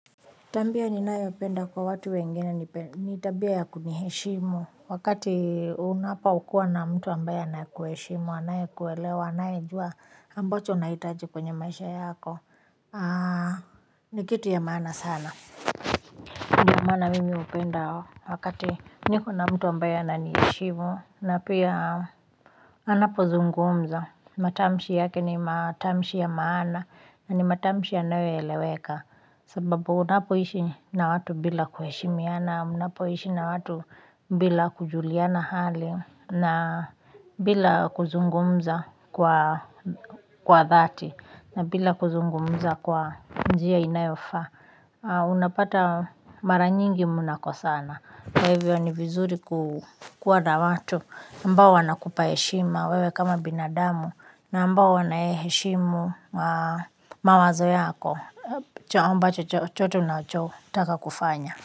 Tabia ninayopenda kwa watu wengine ni tabia ya kuniheshimu wakati unapokua na mtu ambaye anakuheshimu anaye kuelewa anayejua ambacho unahitaji kwenye maisha yako ni kitu ya maana sana. Kwa maana mimi hupenda wakati niko na mtu ambaye ananiheshimu na pia anapozungumza, matamshi yake ni matamshi ya maana na ni matamshi yanayoeleweka. Sababu unapoishi na watu bila kuheshimiana, unapoishi na watu bila kujuliana hali. Na bila kuzungumza kwa dhati na bila kuzungumza kwa njia inayofaa unapata mara nyingi munakosana. Kwa hivyo ni vizuri kuwa na watu ambao wanakupa heshima wewe kama binadamu na ambao wanaheshimu mawazo yako chochoto ambacho unataka kufanya.